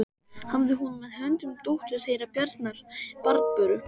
Hafði hún með höndum dóttur þeirra Bjarnar, Barböru.